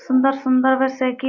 सुन्दर सुन्दर bicycle --